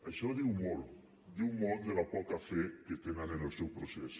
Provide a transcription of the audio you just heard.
això diu molt diu molt de la poca fe que tenen en el seu procés